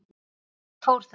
Hvers vegna fór það?